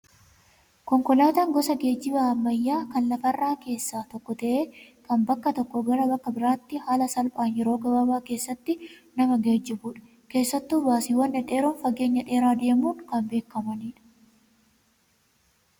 Konkolaataan gosa geejjibaa ammayyaa kan lafa irraa keessaa tokko ta'ee kan bakka tokkoo gara biraatti haala salphaan yeroo gabaabaa keessatti nama geejjibudha. Keessattuu baasiiwwan dhedheeroon fageenya dheeraa deemuun kan beekamanidha.